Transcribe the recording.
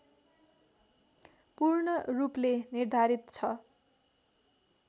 पूर्ण रूपले निर्धारित छ